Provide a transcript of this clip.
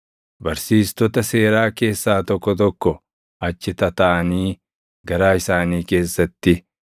Barsiistota seeraa keessaa tokko tokko achi tataaʼanii garaa isaanii keessatti,